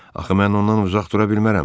Axı mən ondan uzaq dura bilmərəm.